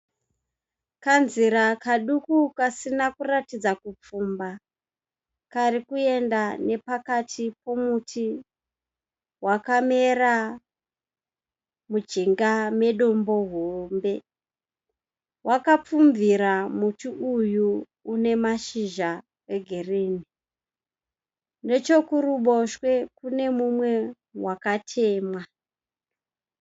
Kanzira kaduku kasina kuratidza kupfumba karikuenda nepakati pomuti wakamera mujinga medombo hombe. Wakapfumbira muti uyu unemashizha egirini. Nechokuruboshwe kunemumwe wakatemwa.